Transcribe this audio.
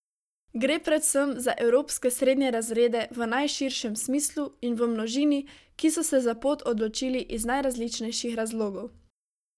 Gre predvsem za evropske srednje razrede v najširšem smislu in v množini, ki so se za pot odločili iz najrazličnejših razlogov.